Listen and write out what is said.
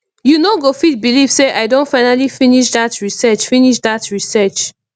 you no go fit believe say i don finally finish dat research finish dat research